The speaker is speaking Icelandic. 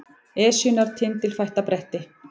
Esjunnar tindilfætta bretti